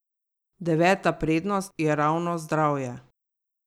Deveta prednost je ravno zdravje.